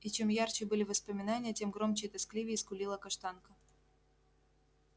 и чем ярче были воспоминания тем громче и тоскливее скулила каштанка